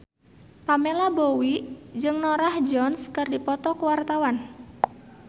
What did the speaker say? Pamela Bowie jeung Norah Jones keur dipoto ku wartawan